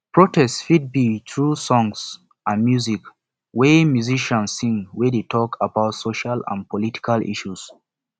protests fit be through songs and music wey musician sing wey de talk about social and political issues